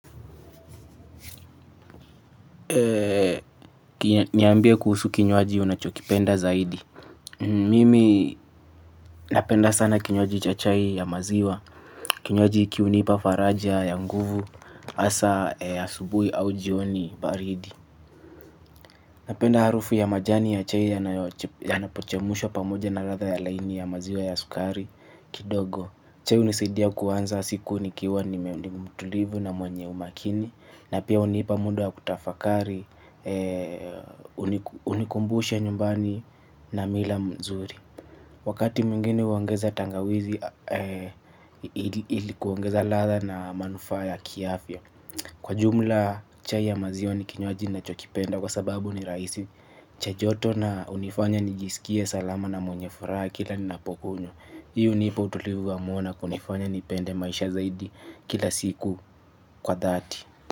Niambie kuhusu kinywaji unachokipenda zaidi. Mimi napenda sana kinywaji cha chai ya maziwa. Kinywaji hiki hunipa faraja ya nguvu hasaa ya asubuhi au jioni baridi. Napenda harufu ya majani ya chai ya napochemushwaa pamoja na latha ya laini ya maziwa ya sukari kidogo. Chai hunisidia kuanza siku nikiwa nimendi mtulivu na mwenye umakini. Na pia hunipa muda wa kutafakari hunikumbusha nyumbani na mila mzuri. Wakati mwingine huongeza tangawizi ili kuongeza latha na manufaa ya kiafya. Kwa jumla chai ya maziwa ni kinywaji nachokipenda kwa sababu ni rahisi cha joto na hunifanya nijisikie salama na mwenye furaha kila ninapokunywa. Hii hunipa utulivu wa moyo na kunifanya nipende maisha zaidi kila siku kwa dhati.